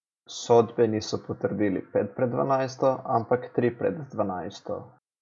Sodbe niso potrdili pet pred dvanajsto, ampak tri pred dvanajsto.